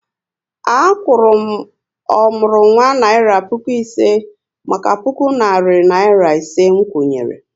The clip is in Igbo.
A kwuru m ọmụrụnwa naira puku ise maka puku narị naira ise nkwụnye ré